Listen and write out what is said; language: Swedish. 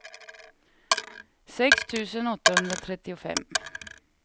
sex tusen åttahundratrettiofem